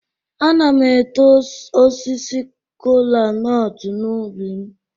Ana m eto osisi kola-nut n'ubi m.